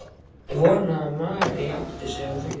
Ég vona að Mary átti sig á því.